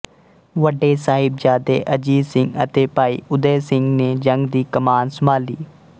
ਵੱਡੇ ਸਾਹਿਬਜ਼ਾਦੇ ਅਜੀਤ ਸਿੰਘ ਅਤੇ ਭਾਈ ਊਦੈ ਸਿੰਘ ਨੇ ਜੰਗ ਦੀ ਕਮਾਨ ਸੰਭਾਲੀ